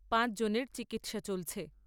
পাঁচ জনের চিকিৎসা চলছে।